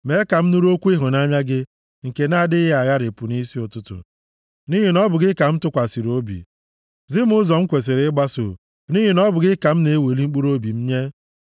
Mee ka m nụrụ okwu ịhụnanya gị nke na-adịghị agharịpụ nʼisi ụtụtụ, nʼihi na ọ bụ gị ka m tụkwasịrị obi. Zi m ụzọ m kwesiri ịgbaso, nʼihi na ọ bụ gị ka m na-eweli mkpụrụobi m nye.